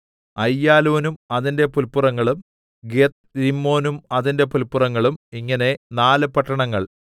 അയ്യാലോനും അതിന്റെ പുല്പുറങ്ങളും ഗത്ത്രിമ്മോനും അതിന്റെ പുല്പുറങ്ങളും ഇങ്ങനെ നാല് പട്ടണങ്ങൾ